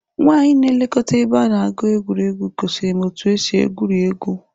Nwanyị na-elekọta ebe a na-egwu egwuregwu gosiri m otú e si egwuri egwu.